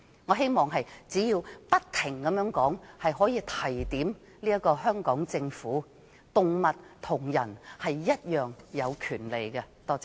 我希望只要不停說，可以令香港政府意識到，動物與人類一樣有權利。